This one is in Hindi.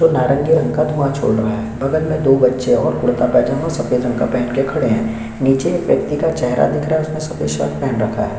नारंगी रंग का धुँवा छोड़ रहा है बगल में दो बच्चे कुर्ता पैजामा सफेद रंग का पहन के खड़े है नीचे एक व्यक्ति का चेहरा दिख रहा है उसने सफेद शॉल पहन रखा है।